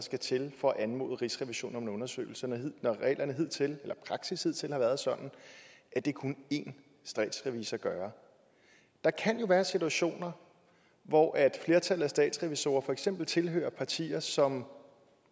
til for at anmode rigsrevisionen om en undersøgelse når praksis hidtil har været sådan at det kunne én statsrevisor gøre der kan jo være situationer hvor flertallet af statsrevisorer for eksempel tilhører partier som